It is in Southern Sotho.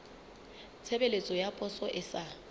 tshebeletso ya poso e sa